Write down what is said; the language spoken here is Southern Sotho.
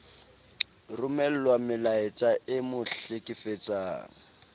romellwa melaetsa e mo hlekefetsang